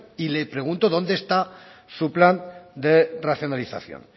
y le pregunto dónde está su plan de racionalización